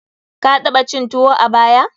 Ka taɓa cin tuwo a baya?